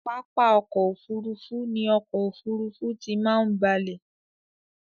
Pápá ọkò òfurufú ni ọkò òfurufú tí máa ń balẹ̀.